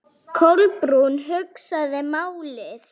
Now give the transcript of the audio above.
Kolbrún hugsaði málið.